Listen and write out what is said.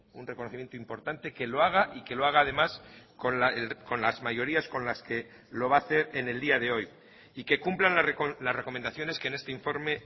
un reconocimiento importante que lo haga y que lo haga además con las mayorías con las que lo va a hacer en el día de hoy y que cumplan las recomendaciones que en este informe